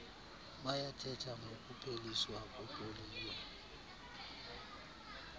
bayathetha ngokupheliswa kwepoliyo